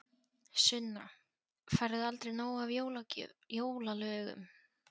Sunna: Færðu aldrei nóg af jólalögum?